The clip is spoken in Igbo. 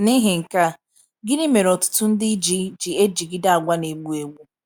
N’ihi nka a,gini mere ọtụtụ ndị ji ji ejigide àgwà na - egbu egbu?